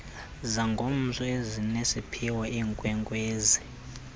zangomso ezinesiphiwo iinkwenkwezi